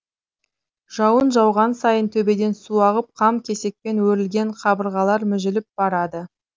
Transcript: жауын жауған сайын төбеден су ағып қам кесекпен өрілген қабырғалар мүжіліп барады